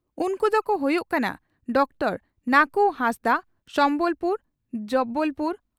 ᱩᱱᱠᱩ ᱫᱚᱠᱚ ᱦᱩᱭᱩᱜ ᱠᱟᱱᱟ ᱺᱼ ᱰᱚᱠᱴᱚᱨ ᱱᱟᱹᱠᱩ ᱦᱟᱸᱥᱫᱟᱜ (ᱥᱚᱢᱵᱚᱞᱯᱩᱨ ᱡᱹᱵᱹ